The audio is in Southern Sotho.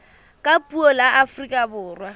ka puo la afrika borwa